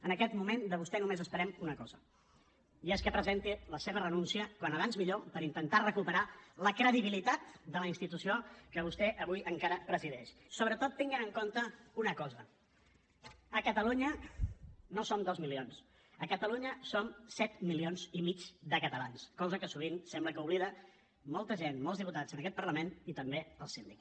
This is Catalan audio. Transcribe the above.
en aquest moment de vostè només esperem una cosa i és que presenti la seva renúncia com més aviat millor per intentar recuperar la credibilitat de la institució que vostè avui encara presideix sobretot tenint en compte una cosa a catalunya no som dos milions a catalunya som set milions i mig de catalans cosa que sovint sembla que oblida molta gent molts diputats en aquest parlament i també el síndic